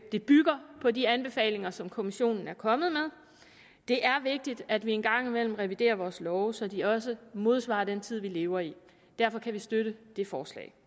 det bygger på de anbefalinger som kommissionen er kommet med det er vigtigt at vi en gang imellem reviderer vores love så de også modsvarer den tid vi lever i derfor kan vi støtte det forslag